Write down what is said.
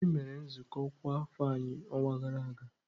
Mba, anyị mere nzukọ ọkwa afọ anyị n'ọnwa gara aga.